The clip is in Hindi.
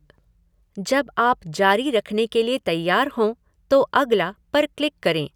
जब आप जारी रखने के लिए तैयार हों तो अगला पर क्लिक करें।